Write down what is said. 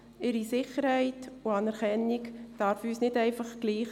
Ihre Sicherheit und Anerkennung darf uns nicht einfach egal sein.